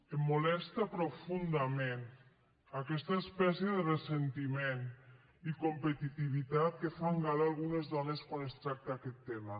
em molesta profundament aquesta espècie de ressentiment i competitivitat de què fan gala algunes dones quan es tracta aquest tema